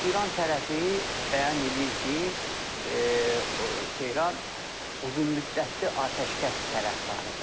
İran tərəfi bəyan eləyir ki, Tehran uzunmüddətli atəşkəs tərəfdarıdır.